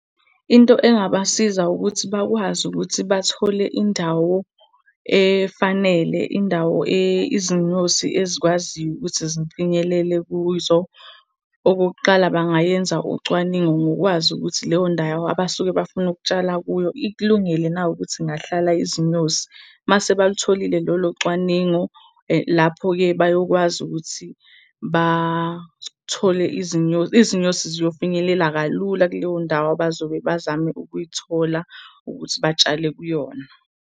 Into engabasiza ukuthi bakwazi ukuthi bathole indawo efanele, indawo izinyosi ezikwaziyo ukuthi zifinyelele kuzo. Okokuqala bangayenza ucwaningo ngokwazi ukuthi leyo ndawo abasuke bafuna ukutshala kuyo ikulungele na ukuthi ingahlala izinyosi? Mase balutholile lolo cwaningo, lapho-ke bayokwazi ukuthi bathole izinyosi ziyofinyelela kalula kuleyo ndawo abazobe bazame ukuyithola ukuthi batshale kuyona.